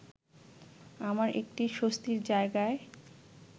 আমরা একটি স্বস্তির জায়গায়